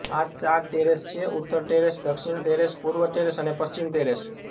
આ ચાર ટેરેસ છે ઉત્તર ટેરેસ દક્ષીણ ટેરેસ પૂર્વ ટેરેસ અને પશ્ચિમ ટેરેસ